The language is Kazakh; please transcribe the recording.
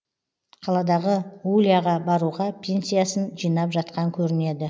қаладағы уляға баруға пенсиясын жинап жатқан көрінеді